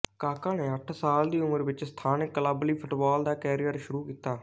ਕਾਕਾ ਨੇ ਅੱਠ ਸਾਲ ਦੀ ਉਮਰ ਵਿੱਚ ਸਥਾਨਕ ਕਲੱਬ ਲਈ ਫੁਟਬਾਲ ਦਾ ਕੈਰੀਅਰ ਸ਼ੁਰੂ ਕੀਤਾ